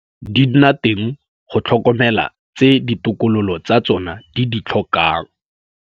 Di nna teng go tlhokomela tse ditokololo tsa tsona di di tlhokang.